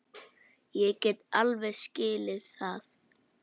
Ég get alveg skilið það.